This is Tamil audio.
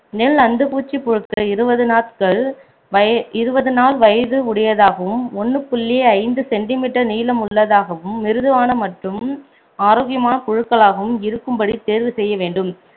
நெல் அந்துப்பூச்சி புழுக்கள் இருபது நாட்கள் வய~ இருபது நாள் வயது உடையதாகவும் ஒண்ணு புள்ளி ஐந்து centimeter நீளமுள்ளதாகவும் மிருதுவான மற்றும் ஆரோக்கியமான் புழுக்களாகவும் இருக்கும் படி தேர்வு செய்ய வேண்டும்